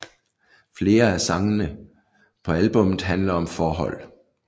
Flere at sangene på albummet handler om forhold